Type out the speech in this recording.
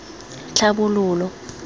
tlhabololo